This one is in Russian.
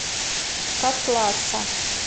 котласа